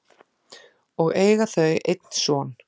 og eiga þau einn son.